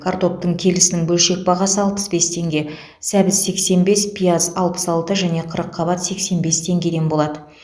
картоптың келісінің бөлшек бағасы алпыс бес теңге сәбіз сексен бес пияз алпыс алты және қырыққабат сексен бес теңгеден болады